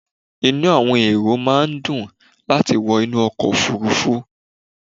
Inú àwọn èrò máà ń dùn láti wọ inú ọkọ̀ òfurufú